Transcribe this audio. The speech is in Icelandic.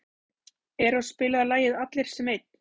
Eros, spilaðu lagið „Allir sem einn“.